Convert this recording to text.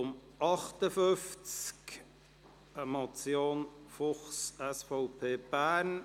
Beim Traktandum 58 handelt es sich um eine Motion von Grossrat Fuchs, SVP, Bern.